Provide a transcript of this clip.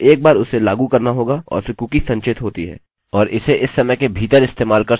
और इसे इस समय के भीतर इस्तेमाल कर सकते हैं जिसे हमने यहाँ सेट किया है